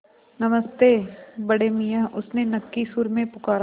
नमस्ते बड़े मियाँ उसने नक्की सुर में पुकारा